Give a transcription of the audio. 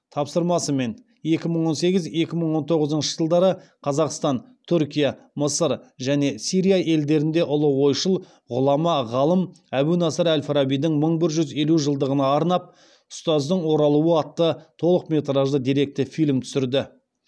тапсырмасымен екі мың он сегіз екі мың он тоғызыншы жылдары қазақстан түркия мысыр және сирия елдерінде ұлы ойшыл ғұлама ғалым әбу насыр әл фарабидің мың бір жүз елу жылдығына арнап ұстаздың оралуы атты толықметражды деректі фильм түсірді